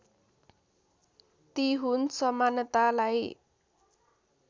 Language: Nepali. ती हुन् समानतालाई